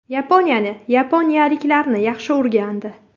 Yaponiyani, yaponiyaliklarni yaxshi o‘rgandi.